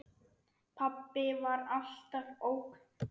Pabbi var alltaf ógn.